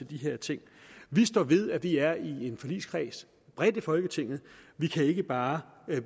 de her ting vi står ved at vi er i en forligskreds bredt i folketinget vi kan ikke bare